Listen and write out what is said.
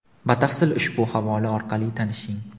Batafsil ushbu havola orqali tanishing.